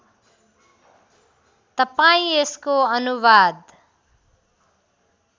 तपाईँ यसको अनुवाद